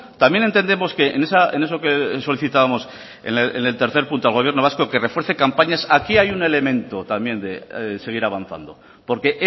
también entendemos que en eso que solicitábamos en el tercer punto al gobierno vasco que refuerce campañas aquí hay un elemento también de seguir avanzando porque